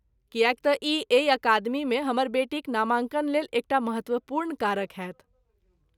किएक तँ ई एहि अकादमीमे हमर बेटीक नामाङ्कनलेल एक टा महत्वपूर्ण कारक होयत।